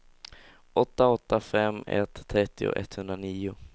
åtta åtta fem ett trettio etthundranio